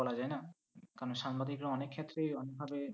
বলা যায় না, কারণ সাংবাদিকরা অনেক ক্ষেত্রেই অনেক ভাবে